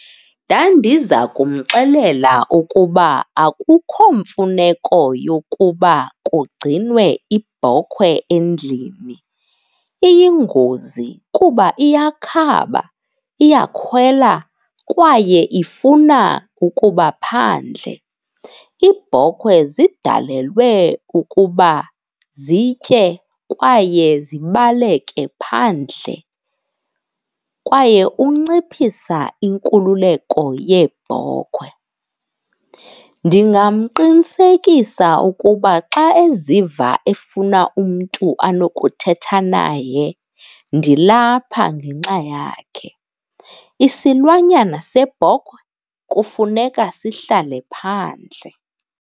Ndandiza kumxelela ukuba akukho mfuneko yokuba kugcinwe ibhokhwe endlini. Iyingozi kuba iyakhaba, iyakhwela kwaye ifuna ukuba phandle. Iibhokhwe zidalelwe ukuba zitye kwaye zibaleke phandle, kwaye unciphisa inkululeko yeebhokhwe. Ndingamqinisekisa ukuba xa eziva efuna umntu anokuthetha naye, ndilapha ngenxa yakhe. Isilwanyana sebhokhwe kufuneka sihlale phandle.